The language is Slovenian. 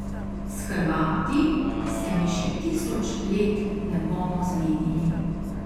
S Hrvati se mi še tisoč let ne bomo zmenili.